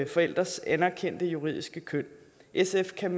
forældres anerkendte juridiske køn sf kan